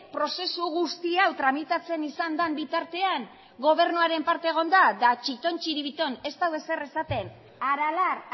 prozesu guzti hau tramitatzen izan den bitartean gobernuaren parte egon da eta txiton txiribiton ez du ezer esaten aralar